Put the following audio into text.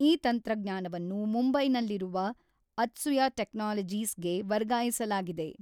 ಈ ತಂತ್ರಜ್ಞಾನವನ್ನು ಮುಂಬೈನಲ್ಲಿರುವ ಅತ್ಸುಯ ಟೆಕ್ನಾಲಜೀಸ್ ಗೆ ವರ್ಗಾಯಿಸಲಾಗಿದೆ